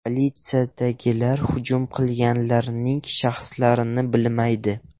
Politsiyadagilar hujum qilganlarning shaxslarini bilmaydi.